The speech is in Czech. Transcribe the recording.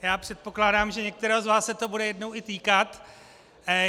Já předpokládám, že některého z vás se to bude jednou i týkat.